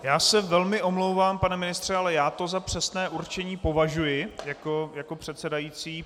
Já se velmi omlouvám, pane ministře, ale já to za přesné určení považuji jako předsedající.